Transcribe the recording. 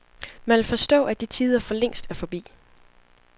Man vil forstå, at de tider forlængst er forbi.